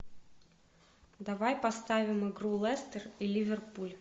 давай поставим игру лестер и ливерпуль